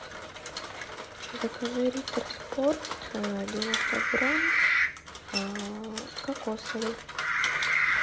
закажи риттер спорт девяносто грамм кокосовый